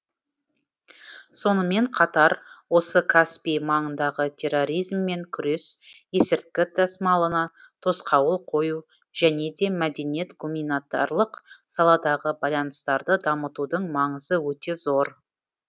сонымен қатар осы каспий маңындағы терроризммен күрес есірткі тасымалына тосқауыл қою және де мәдениет гуманитарлық саладағы байланыстарды дамытудың маңызы өте зор